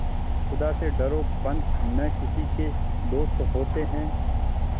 खुदा से डरो पंच न किसी के दोस्त होते हैं